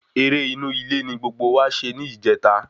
Eré inú ilé ní gbogbo wa ṣe ní ìjẹta